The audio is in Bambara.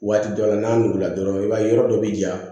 Waati dɔ la n'a wolola dɔrɔn i b'a ye yɔrɔ dɔ bɛ ja